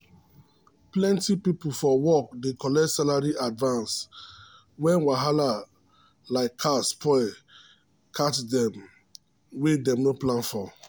plenty people for work dey collect salary advance when wahala like car spoil catch dem wey dem no plan for.